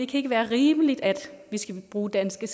kan være rimeligt at vi skal bruge danske